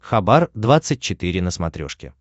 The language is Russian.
хабар двадцать четыре на смотрешке